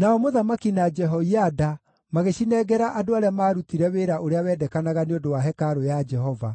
Nao mũthamaki na Jehoiada magĩcinengera andũ arĩa maarutire wĩra ũrĩa wendekanaga nĩ ũndũ wa hekarũ ya Jehova.